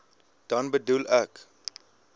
dan bedoel ek